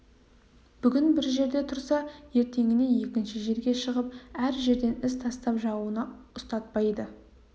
бүгін бір жерде тұрса ертеңіне екінші жерге шығып әр жерден із тастап жауына ұстатпайды